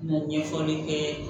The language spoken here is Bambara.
Ɲɛfɔli kɛ